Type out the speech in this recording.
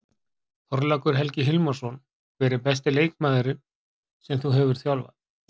Þorlákur Helgi Hilmarsson Hver er besti leikmaður sem þú hefur þjálfað?